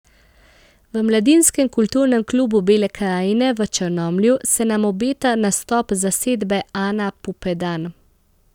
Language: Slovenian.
V Mladinskem kulturnem klubu Bele krajine v Črnomlju se nam obeta nastop zasedbe Ana Pupedan.